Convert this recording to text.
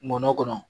Nɔnɔ kɔnɔ